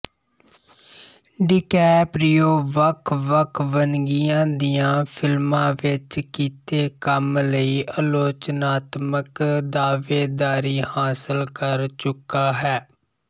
DiCaprio ਵੱਖਵੱਖ ਵੰਨਗੀਆਂ ਦੀਆਂ ਫ਼ਿਲਮਾਂ ਵਿੱਚ ਕੀਤੇ ਕੰਮ ਲਈ ਆਲੋਚਨਾਤਮਕ ਦਾਅਵੇਦਾਰੀ ਹਾਸਲ ਕਰ ਚੁੱਕਾ ਹੈ